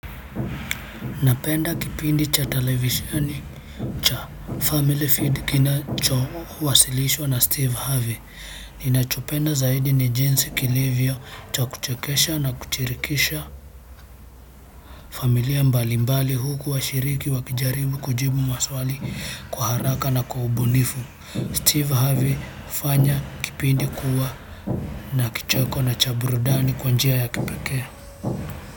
Napenda kipindi cha televisheni cha Family Feud, kinachowasilishwa na Steve Harvey. Ninachopenda zaidi ni jinsi kilivyo cha kuchekesha na kushirikisha familia mbalimbali, huku washiriki wakijaribu kujibu maswali kwa haraka na kwa ubunifu. Steve Harvey hufanya kipindi kuwa na kicheko na cha burudani kwa njia ya kipekee.